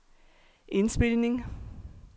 indspilning